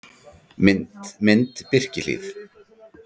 Mynd: Birkihlíð